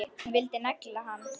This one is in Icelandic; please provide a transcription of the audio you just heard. Hún vildi negla hann!